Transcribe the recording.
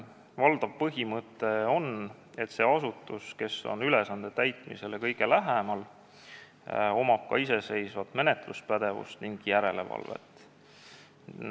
Valdav põhimõte on, et sellel asutusel, kes on ülesande täitmisele kõige lähemal, on iseseisev menetluspädevus ning tema teeb ka järelevalvet.